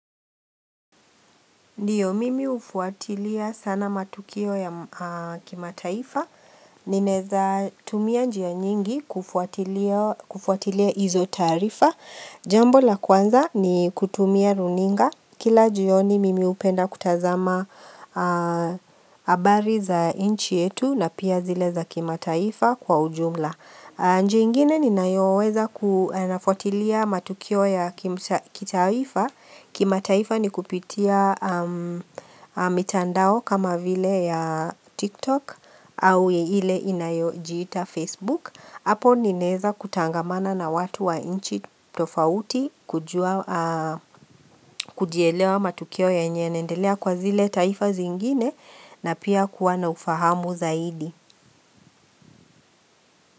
Ndiyo mimi hufuatilia sana matukio ya kimataifa, ninaweza tumia njia nyingi kufuatilia hizo taarifa, jambo la kwanza ni kutumia runinga, kila jioni mimi hupenda kutazama habari za inchi yetu na pia zile za kimataifa kwa ujumla. Njia ingine ninayoweza kunafuatilia matukio ya kitaifa, kimataifa ni kupitia mitandao kama vile ya TikTok au ile inayojita Facebook. Hapo ninaweza kutangamana na watu wa inchi tofauti kujielewa matukio yenye inaendelea kwa zile taifa zingine na pia kuwa na ufahamu zaidi.